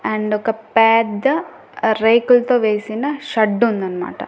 And ఒక పెద్ద రేకుల్తో వేసిన షడ్ ఉందన్మాట.